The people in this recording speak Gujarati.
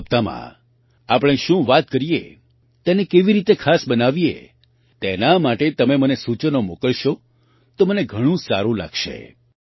100મા હપ્તામાં આપણે શું વાત કરીએ તેને કેવી રીતે ખાસ બનાવીએ તેના માટે તમે મને સૂચનો મોકલશો તો મને ઘણું સારું લાગશે